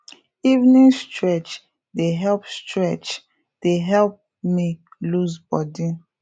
evening stretch dey help stretch dey help me loose body